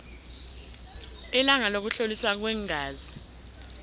ilanga lokuhloliswa kweengazi